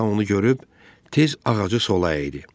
Tam onu görüb, tez ağacı sola əydi.